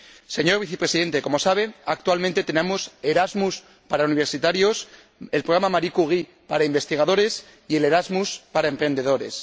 Señor Vicepresidente, como sabe, actualmente tenemos Erasmus para universitarios, el programa Marie Curie para investigadores y el Erasmus para emprendedores.